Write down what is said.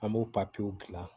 An b'o papiyew gilan